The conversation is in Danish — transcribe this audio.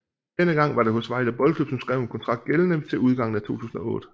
Denne gang var det hos Vejle Boldklub som skrev en kontrakt gældende til udgangen af 2008